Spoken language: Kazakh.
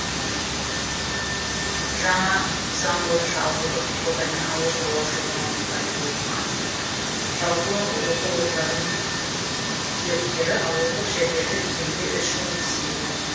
жаңа заң бойынша ауылдық квотамен ауыл шаруашылығы мамандықтарында оқыған жалпы оқу орындарының түлектері ауылдық жерлерде кемінде үш жыл жұмыс істейді